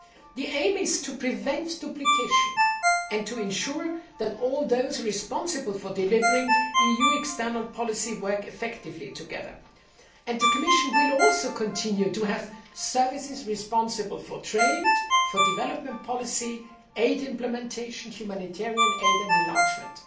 The aim is to prevent duplication and to ensure that all those responsible for delivering EU external policy work effectively together, and the Commission will also continue to have services responsible for trade, development policy, aid implementation, humanitarian aid and enlargement.